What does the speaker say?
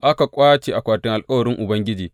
Aka ƙwace akwatin alkawarin Ubangiji.